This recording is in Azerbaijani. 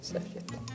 Səhv getdi.